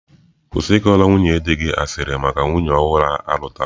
Kwụsị ịkọrọ nwunye di gị asịrị maka nwunye ọhụrụ alutara.